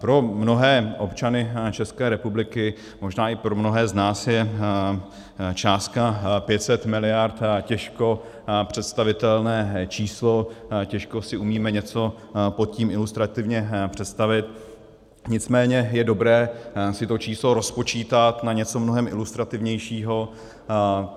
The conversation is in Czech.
Pro mnohé občany České republiky, možná i pro mnohé z nás je částka 500 miliard těžko představitelné číslo, těžko si umíme něco pod tím ilustrativně představit, nicméně je dobré si to číslo rozpočítat na něco mnohem ilustrativnějšího.